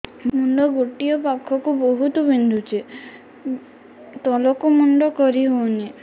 ମୁଣ୍ଡ ଗୋଟିଏ ପାଖ ବହୁତୁ ବିନ୍ଧୁଛି ତଳକୁ ମୁଣ୍ଡ କରି ହଉନି